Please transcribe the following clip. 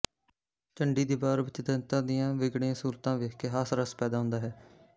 ਚੰਡੀ ਦੀ ਵਾਰ ਵਿਚ ਦੈਂਤਾਂ ਦੀਆਂ ਵਿਗੜੀਆਂ ਸੂਰਤਾਂ ਵੇਖ ਕੇ ਹਾਸ ਰਸ ਪੈਦਾ ਹੁੰਦਾ ਹੈ